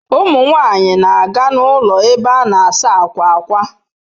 Ụmụ nwanyị na-aga n'ụlọ ebe a na-asa akwa ákwà.